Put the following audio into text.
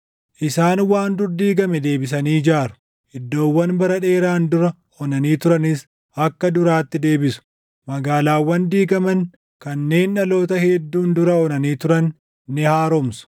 Isaan waan dur diigame deebisanii ijaaru; iddoowwan bara dheeraan dura onanii turanis // akka duraatti deebisu; magaalaawwan diigaman, kanneen dhaloota hedduun dura onanii turan ni haaromsu.